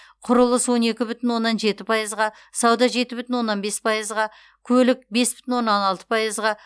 құрылыс он екі бүтін оннан жеті пайызға сауда жеті бүтін оннан бес пайызға көлік бес бүтін оннан алты пайызға